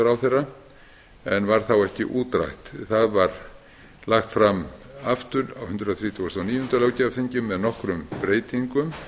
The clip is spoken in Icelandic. sveitarstjórnarráðherra en varð þá ekki útrætt það var lagt fram aftur á hundrað þrítugasta og níunda löggjafarþingi með nokkrum breytingum